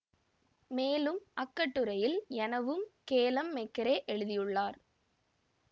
மேலும் அக்கட்டுரையில் எனவும் கேலம் மெக்கரே எழுதியுள்ளார்